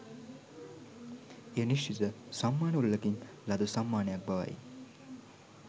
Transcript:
එය නිශ්චිත සම්මාන උළෙලකින් ලද සම්මානයක් බවයි